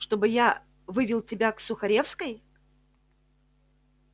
чтобы я вывел тебя к сухаревской